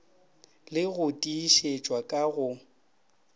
le go tiišetšwa ka go